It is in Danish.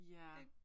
Ja